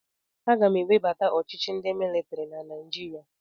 Aga m ewebata ọchịchị ndị militiri na Naijiria.